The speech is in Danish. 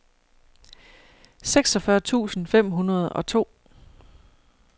seksogfyrre tusind fem hundrede og to